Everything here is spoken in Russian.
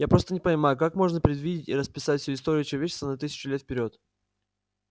я просто не понимаю как можно предвидеть и расписать всю историю человечества на тысячу лет вперёд